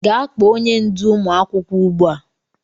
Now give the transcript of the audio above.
Gaa kpo onye ndú ụmụ akwụkwọ ugbua!